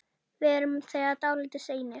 Við erum þegar dálítið seinir.